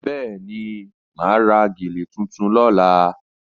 Bẹ́ẹ̀ni, mà á ra gèlè tuntun lọ́la